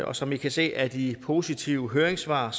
og som i kan se af de positive høringssvar